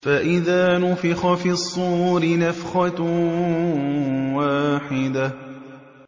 فَإِذَا نُفِخَ فِي الصُّورِ نَفْخَةٌ وَاحِدَةٌ